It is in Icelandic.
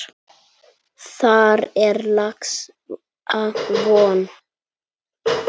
Þar er laxa von.